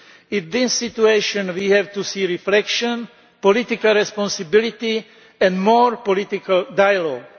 In this situation we have to see reflection, political responsibility and more political dialogue.